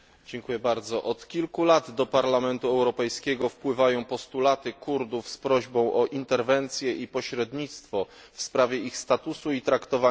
Od kilku lat do Parlamentu Europejskiego wpływają postulaty Kurdów z prośbą o interwencję i pośrednictwo w sprawie ich statusu i traktowania w Turcji.